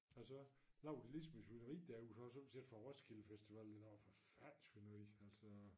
Og så laver de ligesom et svineri derude fra sommetider fra Roskilde Festival det var dog et forfærdeligt svineri altså